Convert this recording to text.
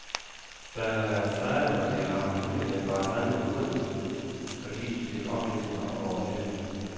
Der har været sager, hvor de har haft mulighed for at handle hurtigt, fordi de fik oplysninger over nettet.